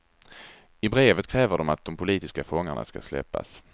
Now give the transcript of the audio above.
I brevet kräver de att de politiska fångarna ska släppas.